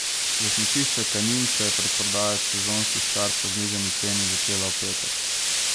Za smučišče Kanin se je predprodaja sezonskih kart po znižani ceni začela v petek.